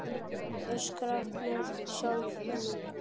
Öskra með sjálfri mér.